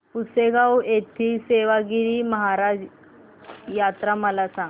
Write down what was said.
पुसेगांव येथील सेवागीरी महाराज यात्रा मला सांग